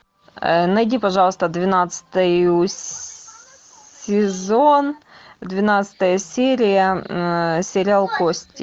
найди пожалуйста двенадцатый сезон двенадцатая серия сериал кости